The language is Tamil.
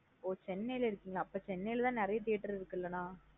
ஒ chennai லா இருக்கீங்களா? அப்ப chennai லா தான் நறைய theatre இருக்கு லா நா.